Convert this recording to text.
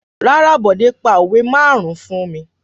Rárá, Bọ̀dé pa òwe márùn-ún fún mi.